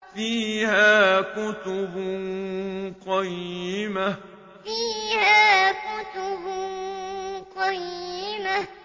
فِيهَا كُتُبٌ قَيِّمَةٌ فِيهَا كُتُبٌ قَيِّمَةٌ